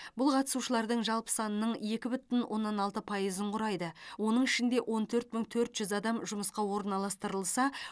бұл қатысушылардың жалпы санының екі бүтін оннан алты пайызын құрайды оның ішінде он төрт мың төрт жүз адам жұмысқа орналастырылса